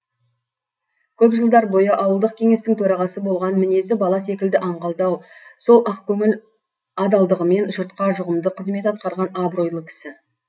көп жылдар бойы ауылдық кеңестің төрағасы болған мінезі бала секілді аңғалдау сол ақ көңіл адалдығымен жұртқа жұғымды қызмет атқарған абыройлы кісі